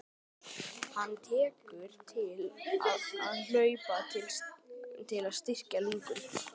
Hann tekur til við að hlaupa til að styrkja lungun.